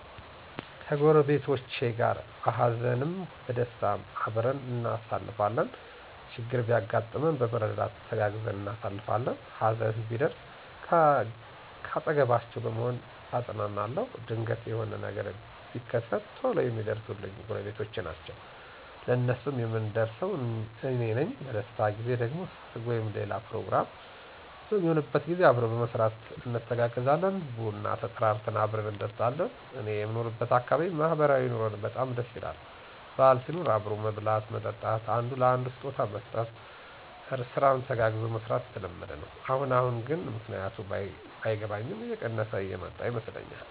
ከጎረቤቶቸ ጋር በሃዘንም በደስታም አብረን እናሳልፋለን። ችግር ቢያጋጥመን በመረዳዳት ተጋግዘን እናሳልፋለን። ሀዘን ቢደርስ ካጠገባቸዉ በመሆን አጵናናለዉ። ድንገት የሆነ ነገር ቢከት ቶሎ የሚደርሱልኝ ጎረቤቶቸ ናቸዉ። ለነሱም የምደርሰው አኔ ነኝ። በደስታ ጊዜ ደግሞ ሰርግ ወይም ሌላ ፕሮግራም በሚሆንበት ጊዜ አብሮ በመስራት እንተጋገዛለን። ቡና ተጠራርተን አብረን እንጠጣለን። እኔየምኖርበት አካባቢ ማህበራዊ ኑሮዉ በጣም ደስ ይላል። በአል ሲሆን አብሮ መብላት መጠጣት፣ አንዱ ለአንዱ ስጦታ መስጠት፣ ስራን ተጋግዞ መስራት የተለመደ ነዉ። አሁን አሁን ግን ምክንያቱ ባይገባኝም እየቀነሰ የመጣ ይመስለኛል።